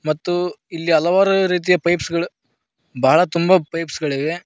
ಮತ್ತು ಇಲ್ಲಿ ಹಲವಾರು ರೀತಿಯ ಪೈಪ್ಸ್ ಗಳ್ ಭಾಳ ತುಂಬ ರೀತಿಯ ಪೈಪ್ಸ್ ಗಳಿವೆ.